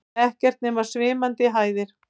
Ekkert nema svimandi hæðir.